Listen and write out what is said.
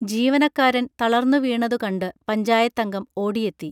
ജീവനക്കാരൻ തളർന്നുവീണതു കണ്ട് പഞ്ചായത്തംഗം ഓടിയെത്തി